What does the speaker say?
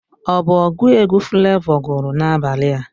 Ọ bụ ọgụ egwu Flavọ gụrụ N'abalị a